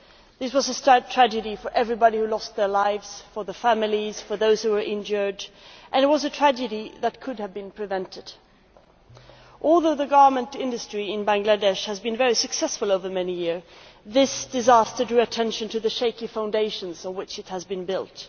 It was a tragedy for everybody who lost their lives, for the families and for those who were injured, and it was a tragedy that could have been prevented. Although the garment industry in Bangladesh has been very successful over many years, this disaster drew attention to the shaky foundations on which it has been built.